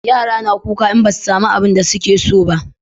Yara na kuka in ba su samu abunda su ke so ba